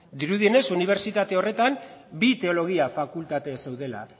dirudienez unibertsitate horretan bi teologia fakultate zeudela